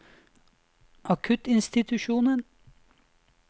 akuttinstitusjonen